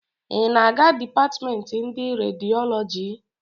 Ị na-aga dipatịmemtị ndị rediọlọji?